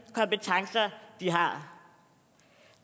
har